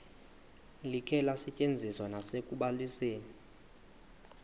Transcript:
likhe lisetyenziswe nasekubalisweni